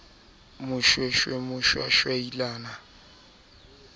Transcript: sitiswa ke hona ho nwa